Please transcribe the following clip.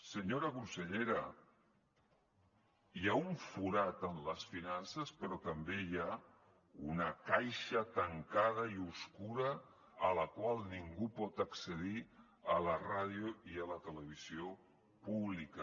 senyora consellera hi ha un forat en les finances però també hi ha una caixa tancada i obscura a la qual ningú pot accedir a la ràdio i a la televisió públiques